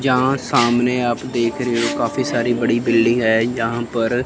यहां सामने आप देख रहे हो काफी सारी बड़ी बिल्डिंग है यहां पर--